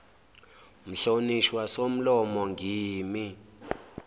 mhlonishwa somlomo ngimi